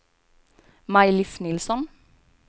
Maj-Lis Nilsson